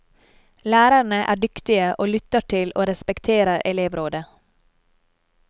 Lærerne er dyktige, og lytter til og respekterer elevrådet.